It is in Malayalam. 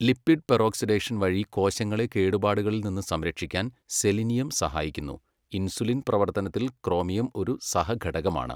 ലിപിഡ് പെറോക്സിഡേഷൻ വഴി കോശങ്ങളെ കേടുപാടുകളിൽ നിന്ന് സംരക്ഷിക്കാൻ സെലിനിയം സഹായിക്കുന്നു. ഇൻസുലിൻ പ്രവർത്തനത്തിൽ ക്രോമിയം ഒരു സഹഘടകമാണ്.